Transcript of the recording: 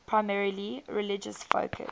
primarily religious focus